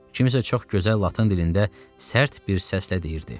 Kimsə çox gözəl latın dilində sərt bir səslə deyirdi.